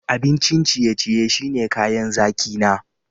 Abincin ciye-ciye shine kayan zaki na.